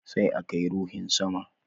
Sai a kai ruhin sama